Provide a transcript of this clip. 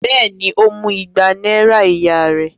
Bẹ́ẹ̀ ni, ó mú igba náírà ìyá rẹ̀.